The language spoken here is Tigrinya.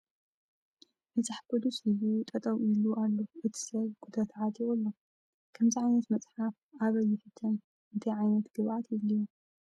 መፅሓፍ ቅዱስ ሒዙ ጠጠው ኢሉ ኣሎ እቲ ሰብ ኩታ ተዓጢቁ ኣሎ ። ከምዚ ዓይነት መፅሓፍ ኣበይ ይሕተም ኣንታይ ዕይነት ግብኣት ይድልዮ ?